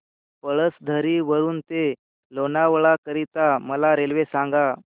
पळसधरी वरून ते लोणावळा करीता मला रेल्वे सांगा